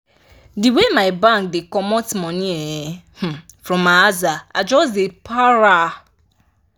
the way my bank dey comot money from my aza i just dey para